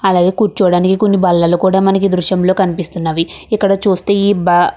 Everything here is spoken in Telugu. అలాగే కూర్చోడానికి కొన్నీ బల్లలు కూడా మనకి కనిపిస్తున్నవి. ఇక్కడ చుస్తే ఈ బ --